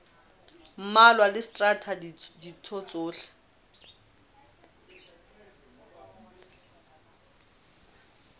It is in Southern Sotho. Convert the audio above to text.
mmalwa le traste ditho tsohle